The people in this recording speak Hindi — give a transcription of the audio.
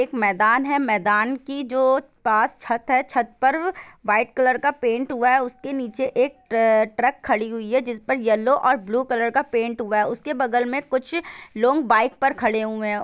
एक मैदान है मैदान की जो पास छत है छत पर वाइट कलर का पेंट हुआ है उस के नीचे एक ट्र ट्रक खड़ी हुई है जिस पे येलो और ब्लू कलर का पेंट हुआ है उस के बगल में कुछ लोग बाइक पर खड़े हुए हैं।